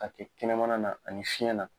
A tɛ kɛnɛmana na ani fiɲɛ na